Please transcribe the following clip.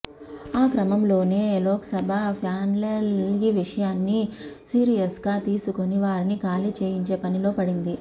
ఆ క్రమంలోనే లోక్సభ ప్యానెల్ ఈ విషయాన్ని సీరియస్గా తీసుకుని వారిని ఖాళీ చేయించే పనిలో పడింది